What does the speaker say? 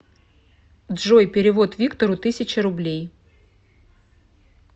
джой перевод виктору тысяча рублей